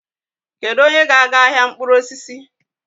Kedu onye ga-aga ahịa mkpụrụ osisi?